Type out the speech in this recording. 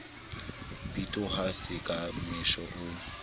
bitoha se ka mesha o